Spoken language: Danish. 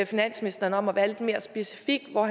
finansministeren om at være lidt mere specifik og